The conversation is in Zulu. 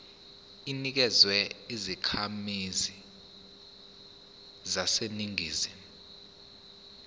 inikezwa izakhamizi zaseningizimu